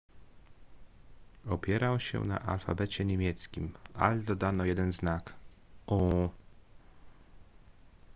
opierał się na alfabecie niemieckim ale dodano jeden znak: õ/õ